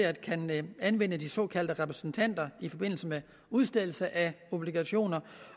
at kunne anvende de såkaldte repræsentanter i forbindelse med udstedelse af obligationer